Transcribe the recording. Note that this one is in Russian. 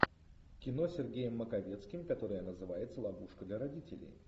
кино с сергеем маковецким которое называется ловушка для родителей